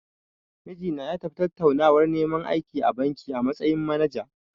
Mijina ya tafi tattaunawar neman aiki a banki, a matsayin manaja.